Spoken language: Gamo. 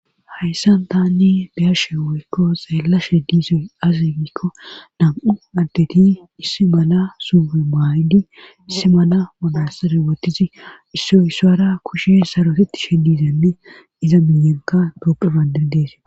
Hayssan tanni beyashe woykko zaalla she disoy azegikko nam'u ardeti issi mana suufe maaydi issi mana monas riwotizi issoy issaara kushe sarotetti she dizanne iza miyenka doqu bandirdees